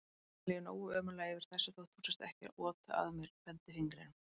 Mér líður nógu ömurlega yfir þessu þótt þú sért ekki að ota að mér bendifingrinum.